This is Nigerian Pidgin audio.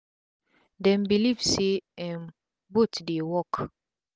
dem believe say um both dey work